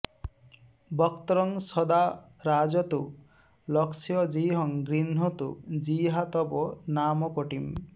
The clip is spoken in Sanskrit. वक्त्रं सदा राजतु लक्षजिह्वं गृह्णातु जिह्वा तव नामकोटिम्